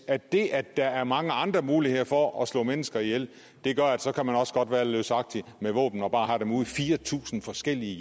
at det at der er mange andre muligheder for at slå mennesker ihjel gør at så kan man også godt være løsagtig med våben og bare have dem ude i fire tusind forskellige